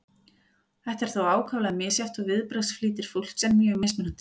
þetta er þó ákaflega misjafnt og viðbragðsflýtir fólks er mjög mismunandi